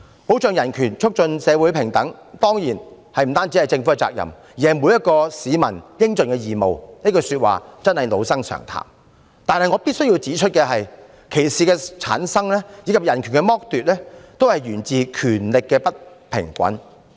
保障人權、促進社會平等當然不單是政府的責任，而是每一名市民應盡的義務，這句說話真是老生常談，但我必須指出，歧視的產生，以及人權的剝奪均源自權力不平衡。